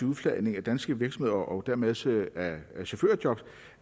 udflagning af danske virksomheder og dermed også af chaufførjob og